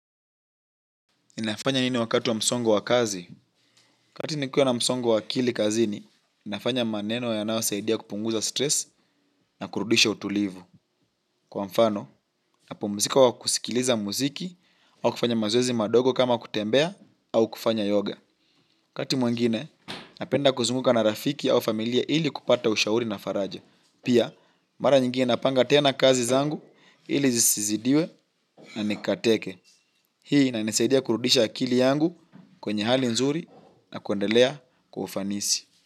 Inafanya nini wakati wa msongo wa kazi? Kati nikiwa na msongo wa akili kazini, inafanya maneno yanayosaidia kupunguza stress na kurudisha utulivu. Kwa mfano, napumzika kwa kusikiliza muziki au kufanya mazoezi madogo kama kutembea au kufanya yoga. Wakati mwingine, napenda kuzunguka na rafiki au familia ili kupata ushauri na faraja. Pia, mara nyingine napanga tena kazi zangu ili zizizidiwe na nikateke. Hii inanisaidia kurudisha akili yangu kwenye hali nzuri, na kuendelea kufanisi.